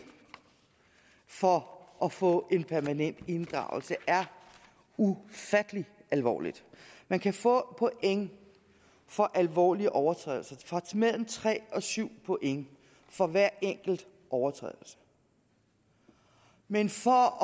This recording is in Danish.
for at få en permanent inddragelse er ufattelig alvorligt man kan få point for alvorlige overtrædelser mellem tre og syv point for hver enkelt overtrædelse men for